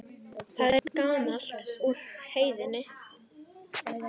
Það er gamalt úr Heiðni!